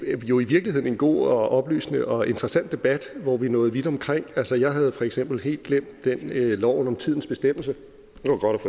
jo i virkeligheden god og oplysende og interessant debat hvor vi nåede vidt omkring altså jeg havde for eksempel helt glemt loven om tidens bestemmelse